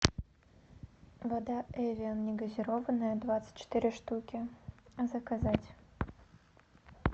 вода эвиан негазированная двадцать четыре штуки заказать